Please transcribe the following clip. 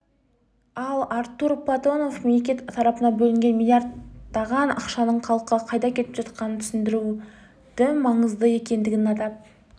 ал артур платонов мемлекет тарапынан бөлінетін млрд-таған ақшаның халыққа қайда кетіп жатқандығын түсіндіру маңызды екендігін атап